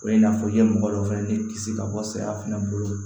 O ye n'a fɔ i ye mɔgɔ dɔ fɛnɛ de kisi ka bɔ saya fana bolo